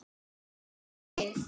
Haukum í vil.